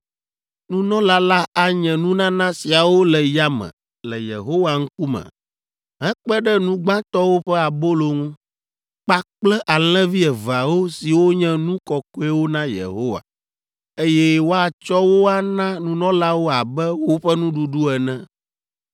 Nunɔla la anye nunana siawo le yame le Yehowa ŋkume hekpe ɖe nu gbãtɔwo ƒe abolo ŋu, kpakple alẽvi eveawo siwo nye nu kɔkɔewo na Yehowa, eye woatsɔ wo ana nunɔlawo abe woƒe nuɖuɖu ene.